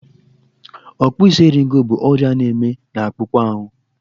Ọkpụisieriego bụ ọrịa na-eme n'akpụkpọ ahụ.